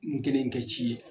N kelen tɛ ci ye